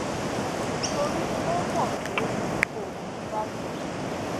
torí ó mò pé tí òun bá sọ fún wọn